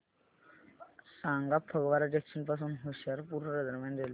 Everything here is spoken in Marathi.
सांगा फगवारा जंक्शन पासून होशियारपुर दरम्यान रेल्वे